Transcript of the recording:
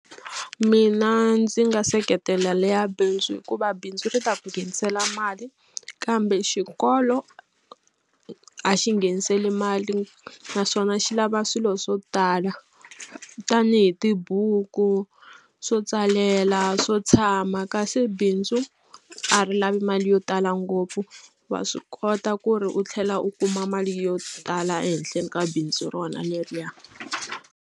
Mina ndzi nga seketela leya bindzu hikuva bindzu ri ta ku nghenisela mali kambe xikolo a xi ngheniseli mali naswona xi lava swilo swo tala tanihi tibuku, swo tsalela, swo tshama kasi bindzu a ri lavi mali yo tala ngopfu. Wa swi kota ku ri u tlhela u kuma mali yo tala ehenhleni ka bindzu rona leriya.